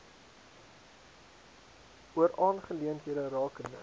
oor aangeleenthede rakende